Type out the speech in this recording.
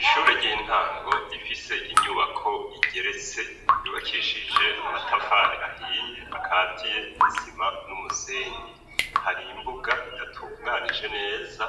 Ishure ry'intango, rifise inyubako igeretse yubakishije amatafari ahiye ,akatiye n'isima n'umusenyi ,hari imbuga idatunganije neza,